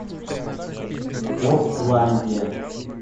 портландия